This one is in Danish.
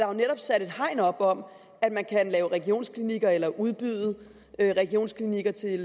jo netop sat et hegn op om at man kan lave regionsklinikker eller udbyde regionsklinikker til